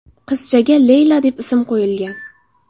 Qizchaga Leyla deb ism qo‘yilgan.